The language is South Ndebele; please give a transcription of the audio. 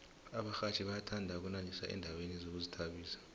abarhatjhi bayathanda ukunandisa endaweni zokuzithabisa